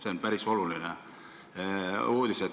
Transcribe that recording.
Seda on päris oluline teada.